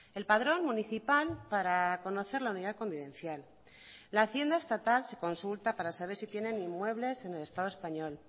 el padrón municipal para conocer la unidad convivencial la hacienda estatal se consulta para saber si tienen inmuebles en el estado español